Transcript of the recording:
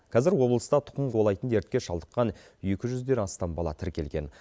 қазір облыста тұқым қуалайтын дертке шалдыққан екі жүзден астам бала тіркелген